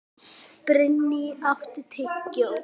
Brynný, áttu tyggjó?